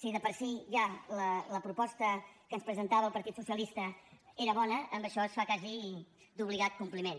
si de per si ja la proposta que ens presentava el partit socialista era bona amb això es fa quasi d’obligat compliment